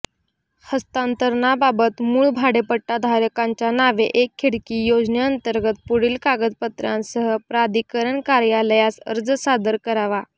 हस्तांतरणाबाबत मूळ भाडेपट्टा धारकांच्या नावे एक खिडकी योजनेअंतर्गत पुढील कागदपत्रांसह प्राधिकरण कार्यालयास अर्ज सादर करावा